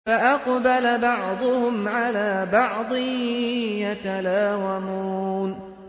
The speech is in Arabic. فَأَقْبَلَ بَعْضُهُمْ عَلَىٰ بَعْضٍ يَتَلَاوَمُونَ